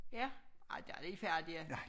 Ja ej der de færdige